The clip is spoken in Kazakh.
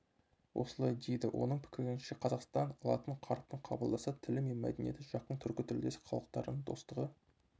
осылай дейді оның пікірінше қазақстан латын қарпін қабылдаса тілі мен мәдениеті жақын түркітілдес халықтарының достығы